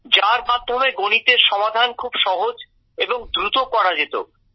যার মাধ্যমে গণিতের সমাধান খুব সহজ এবং দ্রুত করা যেত